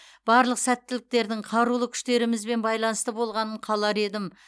барлық сәттіліктердің қарулы күштерімізбен байланысты болғанын қалар едім